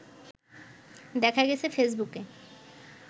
দেখা গেছে ফেসবুকে